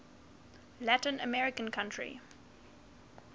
latin american country